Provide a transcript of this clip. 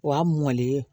Wa mɔlen